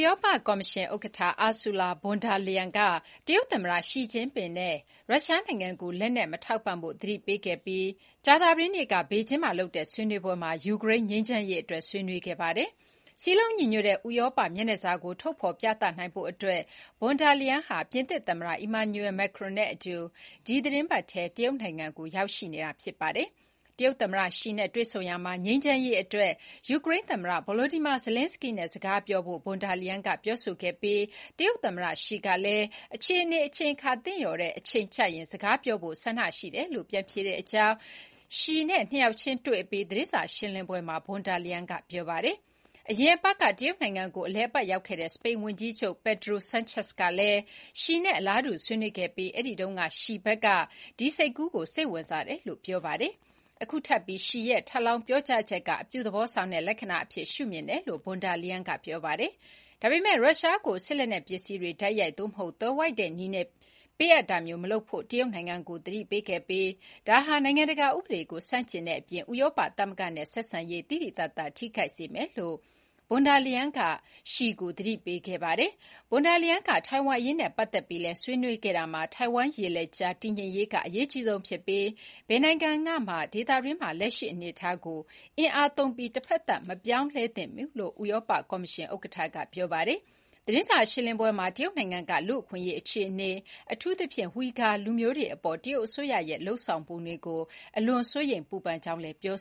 ရောပကော်မရှင်ဥက္ကဋ္ဌ Ursula Von der Leyen က တရုတ်သမ္မတ Xi Jinping ကို ရုရှားနိုင်ငံကို လက်နက် မထောက်ပံ့ဖို့ သတိပေးခဲ့ပြီး ကြာသပတေးနေ့က ဘေဂျင်းမှာလုပ်တဲ့ ဆွေးနွေးပွဲမှာ ယူကရိန်းငြိမ်းချမ်းရေးအတွက် ဆွေးနွေးခဲ့ပါတယ်။ စည်းလုံးညီညွတ်တဲ့ ဥရောပ မျက်နှာစာကို ထုတ်ဖော်ပြသနိုင်ဖို့အတွက် Von der Leyen ဟာ ပြင်သစ်သမ္မတ Emmanuel Macron နဲ့အတူ ဒီသတင်းပတ်ထဲမှာ တရုတ်နိုင်ငံကို ရောက်ရှိနေတာပါ။ Xi နဲ့ တွေ့ဆုံရာမှာ ငြိမ်းချမ်းရေးအတွက် ယူကရိန်း သမ္မတ Volodymyr Zelenskyy နဲ့ စကားပြောဖို့ ဖွန်ဒါလိုင်ယန်က ပြောခဲ့ပြီး Xi ကလည်း အခြေအနေအချိန်အခါ သင့်လျော်တဲ့အချိန်ကျရင် စကားပြောဖို့ ဆန္ဒရှိတယ်လို့ ပြန်ဖြေကြောင်း Xi နဲ့ နှစ်ယောက်ချင်း တွေ့အပြီး သတင်းစာရှင်းလင်းပွဲမှာ Von der Leyen က ပြောပါတယ်။ အရင်အပတ်က တရုတ်နိုင်ငံငံကို အလည်အပတ်ရောက်ခဲ့တဲ့ စပိန်ဝန်ကြီးချုပ် Pedro Sanchez ကလည်း Xi နဲ့ အလားတူ ဆွေးနွေးခဲ့ပြီး အဲ့တုန်းကလည်း Xi ဘက်က ဒီစိတ်ကူးကို စိတ်ဝင်စားတယ်လို့ ဆိုပါတယ်။ အခုထပ်ပြီး Xi ရဲ့ ထပ်လောင်းပြောဆိုချက်က အပြုသဘောဆောင်တဲ့ လက္ခဏာအဖြစ် ရှုမြင်တယ်လို့ Von der Leyen က ပြောပါတယ်။ ဒါပေမယ့် ရုရှားကို စစ်လက်နက်ပစ္စည်းတွေ တိုက်ရိုက် သို့မဟုတ် သွယ်ဝိုက်တဲ့နည်းနဲ့ ပေးအပ်တာမျိုး မလုပ်ဖို့လည်း တရုတ်နိုင်ငံကို သတိပေးခဲ့ပြီး ဒါဟာ နိုင်ငံတကာဥပဒေကို ဆန့်ကျင်တဲ့အပြင် ဥရောပသမဂ္ဂနဲ့ ဆက်ဆံရေး သိသိသာသာ ထိခိုက်စေမယ်လို့ Von der Leyen က Xi ကို သတိပေးခဲ့ပါတယ်။ Von der Leyen က ထိုင်ဝမ်အရေးနဲ့ ပတ်သက်ပြီးလည်း ဆွေးနွေးခဲ့တာမှာ ထိုင်ဝမ်ရေလက်ကြား တည်ငြိမ်ရေးက အရေးကြီးဆုံးဖြစ်ပြီး ဘယ်နိုင်ငံကမှာ ဒေသတွင်းမှာ လက်ရှိအနေအထားကို အင်အားသုံးပြီး တဖက်သတ် မပြောင်းလဲသင့်ဘူးလို့ ဥရောပကော်မရှင်ဥက္ကဋ္ဌက ပြောပါတယ်။ သတင်းစာရှင်းလင်းပွဲမှာ တရုတ်နိုင်ငံက လူ့အခွင့်အရေးအခြေအနေ အထူးသဖြင့် ဝီဂါ လူမျိုးတွေအပေါ် တရုတ်အစိုးရရဲ့ လုပ်ဆောင်ပုံတွေကို “အလွန်စိုးရိမ်ပူပန်” ကြောင်း Von der Leyen က ပြော